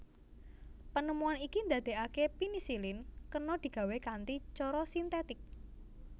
Penemuan iki ndadekaké penisilin kena digawé kanthi cara sintetik